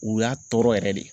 U y'a tɔɔrɔ yɛrɛ de.